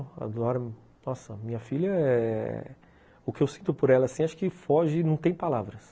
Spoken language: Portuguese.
Nossa, minha filha, o que eu sinto por ela, acho que foge, não tem palavras.